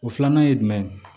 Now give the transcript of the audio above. O filanan ye jumɛn ye